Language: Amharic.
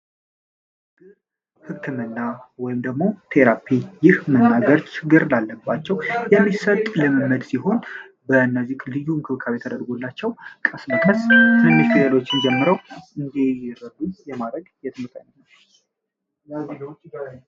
ሕክምና ወይምደግሞ ቴራፒ ይህ መናገርች ግር ላለባቸው የሚሰጡ የምመድ ሲሆን በነዚህ ልዩ እንክልካብ የተደርጎላቸው ቀስ መከስ እንትሌሎችን ጀምረው እንዲረዱን የማረግ የትምጠኝ ነው፡፡